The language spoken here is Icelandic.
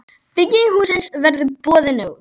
Bygging hússins verður boðin út.